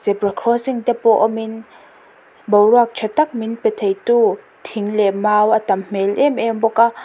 bra crossing te pawh awmin boruak ṭha tak min pe theitu thing leh mau a tam hmêl êm êm bawk a--